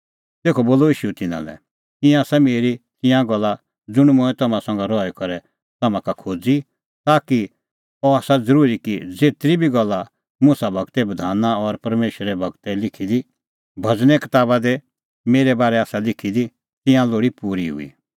तेखअ बोलअ ईशू तिन्नां लै ईंयां आसा मेरी तिंयां गल्ला ज़ुंण मंऐं तम्हां संघै रही करै तम्हां का खोज़ी ती कि अह आसा ज़रूरी कि ज़ेतरी बी गल्ला मुसा गूरे बधान और परमेशरे गूरै लिखी दी भज़ने कताबा दी मेरै बारै आसा लिखी दी तिंयां लोल़ी पूरी हुई